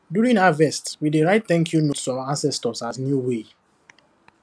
during harvest we dey write thank you note to our ancestors as new way